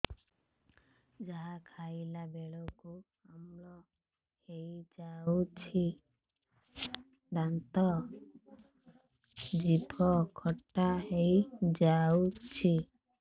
ଯାହା ଖାଇଲା ବେଳକୁ ଅମ୍ଳ ହେଇଯାଉଛି ଦାନ୍ତ ଜିଭ ଖଟା ହେଇଯାଉଛି